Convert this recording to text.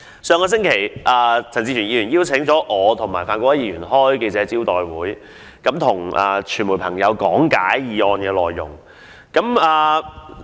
上星期，陳志全議員邀請我和范國威議員舉行記者招待會，向傳媒朋友講解議案內容。